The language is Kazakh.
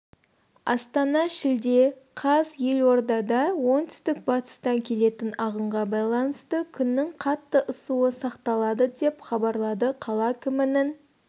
астана шілде қаз елордада оңтүстік-батыстан келетін ағынға байланысты күннің қатты ысуы сақталады деп хабарлады қала әкімінің